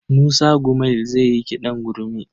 Musa Gumel zai yi kiɗan gurmi.